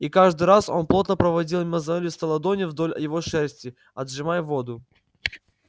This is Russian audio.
и каждый раз он плотно проводил мозолистой ладонью вдоль его шерсти отжимая воду